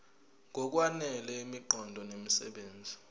ngokwanele imiqondo nemisebenzi